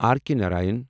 R K Narayan